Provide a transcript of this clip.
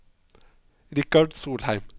Richard Solheim